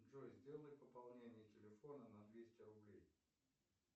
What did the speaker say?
джой сделай пополнение телефона на двести рублей